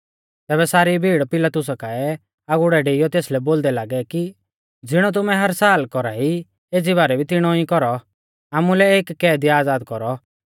तैबै सारी भीड़ पिलातुसा काऐ आगुड़ै डेइयौ तेसलै बोलदै लागै कि ज़िणौ तुमै हर साल कौरा ई एज़ी बारै भी तिणौ कौरौ आमुलै एक कैदी आज़ाद कौरौ